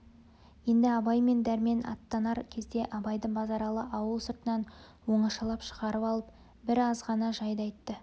енді абай мен дәрмен аттанар кезде абайды базаралы ауыл сыртынан оңашалап шығарып алып бір азғана жайды айтты